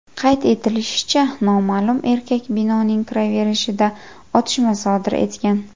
Qayd etilishicha, noma’lum erkak binoning kiraverishida otishma sodir etgan.